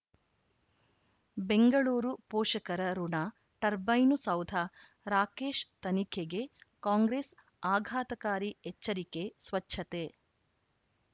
ಬೆಂಗಳೂರು ಪೋಷಕರಋಣ ಟರ್ಬೈನು ಸೌಧ ರಾಕೇಶ್ ತನಿಖೆಗೆ ಕಾಂಗ್ರೆಸ್ ಆಘಾತಕಾರಿ ಎಚ್ಚರಿಕೆ ಸ್ವಚ್ಛತೆ